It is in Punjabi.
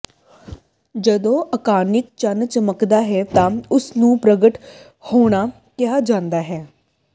ਜਦੋਂ ਆਕਾਨਿਕ ਚੰਨ ਚਮਕਦਾ ਹੈ ਤਾਂ ਉਸ ਨੂੰ ਪ੍ਰਗਟ ਹੋਣਾ ਕਿਹਾ ਜਾਂਦਾ ਹੈ